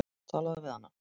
Talaðu við hana.